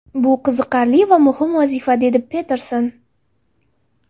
Bu qiziqarli va muhim vazifa”, dedi Peterson.